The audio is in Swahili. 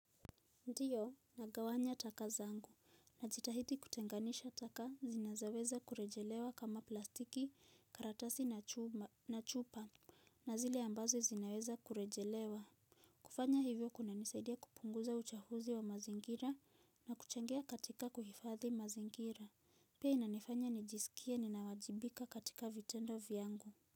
Ndiyo, nagawanya taka zangu, na jitahidi kutenganisha taka zinazoweza kurejelewa kama plastiki, karatasi na chupa, na zile ambazo zinaweza kurejelewa. Kufanya hivyo kuna nisaidia kupunguza uchafuzi wa mazingira na kuchangia katika kuhifadhi mazingira. Pia inanifanya nijisikie ninawajibika katika vitendo vyangu.